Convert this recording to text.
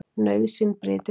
Nauðsyn bryti lög.